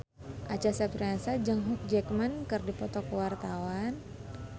Acha Septriasa jeung Hugh Jackman keur dipoto ku wartawan